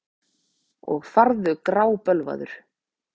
Og farðu grábölvaður.